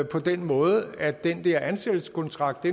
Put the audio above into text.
på den måde at den der ansættelseskontrakt